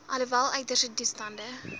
alhoewel uiterste toestande